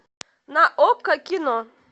на окко кино